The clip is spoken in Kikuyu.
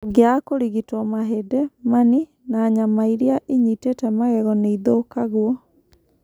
ũngĩaga kũrigitwo, mahĩndĩ, mani na nyama iria ĩnyitĩte magego nĩ ithũkagwo.